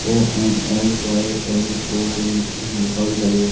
ONLYLOVE लिखा हुआ दिखाई दे रहा--